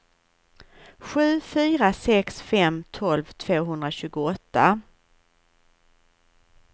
sju fyra sex fem tolv tvåhundratjugoåtta